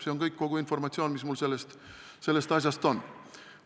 See on kõik, kogu informatsioon, mis mul sellest asjast on.